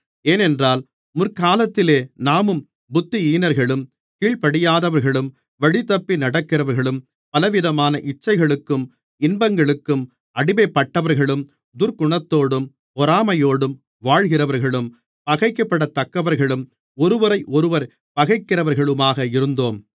ஏனென்றால் முற்காலத்திலே நாமும் புத்தியீனர்களும் கீழ்ப்படியாதவர்களும் வழிதப்பி நடக்கிறவர்களும் பலவிதமான இச்சைகளுக்கும் இன்பங்களுக்கும் அடிமைப்பட்டவர்களும் துர்க்குணத்தோடும் பொறாமையோடும் வாழ்கிறவர்களும் பகைக்கப்படத்தக்கவர்களும் ஒருவரையொருவர் பகைக்கிறவர்களுமாக இருந்தோம்